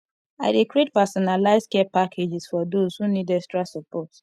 i dey create personalized care packages for those who need extra support